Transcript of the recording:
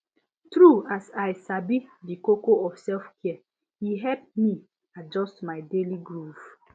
true as i sabi di koko of selfcare e help me adjust my daily groove